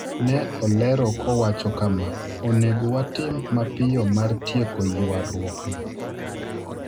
Ne olero kowacho kama: "Onego watim mapiyo mar tieko ywarruokno